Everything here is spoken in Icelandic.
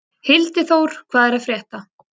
Hildiþór, hvað er að frétta?